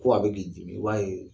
Ko a bɛ k'i dimi walee